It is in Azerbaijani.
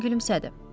Mesin gülümsədi.